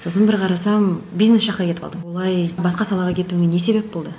сосын бір қарасам бизнес жаққа кетіп қалдың олай басқа салаға кетуіңе не себеп болды